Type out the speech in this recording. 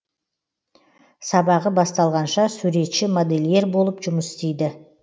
сабағы басталғанша суретші модельер болып жұмыс істейді